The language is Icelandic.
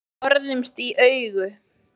Við horfðumst í augu.